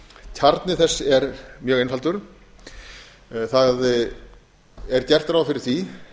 kjarni þess er mjög einfaldur það er gert ráð fyrir því